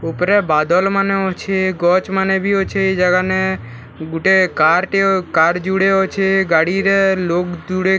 ଉପରେ ବାଦଲ ମାନେ ଅଛେ ଗଛ୍‌ ମାନେ ବି ଅଛେ ଇ ଜାଗା ନେ ଗୁଟେ କାର ଟେ କାର୍‌ ଯୁଡେ ଅଛେ ଗାଡି ରେ ଲୋକ ଯୁଡେ ଲୋକ ଯୁଡେ କେନା --